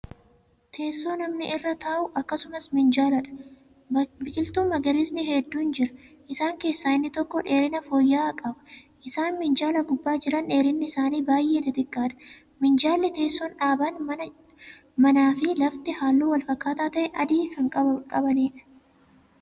Teessoo namni irra taa'u akkasumas minjaaladha. biqiltuun magariisni hedduun jira. isaan keessaa inni tokko dheerina fooyya'aa qaba. isaan minjaala gubbaa Jiran dheerinni isaanii baay'ee xixiqqaadha. minjaalli, teessuun, dhaabaan manaa fi lafti halluu walfakkaataa ta'e adii Kan qabaniidha.